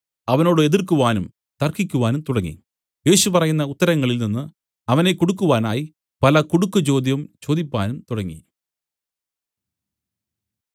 അവനോട് എതിർക്കുവാനും തർക്കിക്കുവാനും തുടങ്ങി യേശു പറയുന്ന ഉത്തരങ്ങളിൽ നിന്നു അവനെ കുടുക്കുവാനായി പല കുടുക്കുചോദ്യം ചോദിപ്പാനും തുടങ്ങി